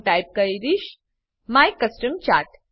હું ટાઈપ કરીશ my custom chart